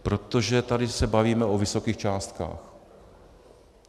Protože tady se bavíme o vysokých částkách.